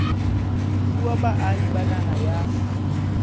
fuwa baahi ba naha ya